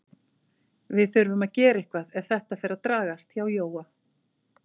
Við þurfum að gera eitthvað ef þetta fer að dragast hjá Jóa.